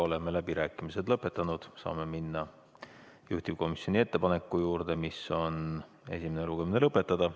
Oleme läbirääkimised lõpetanud, saame minna juhtivkomisjoni ettepaneku juurde, mis on esimene lugemine lõpetada.